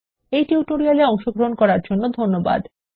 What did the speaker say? এই টিউটোরিয়াল এ অংশগ্রহন করার জন্য ধন্যবাদ